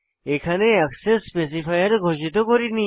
এখানে access specifier ঘোষিত করিনি